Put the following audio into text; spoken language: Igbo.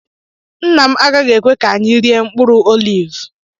Nna m agaghị ekwe ka anyị rie mkpụrụ oliv